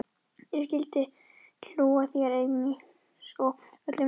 Ég skyldi hlú að þér einsog öllum mínum plöntum.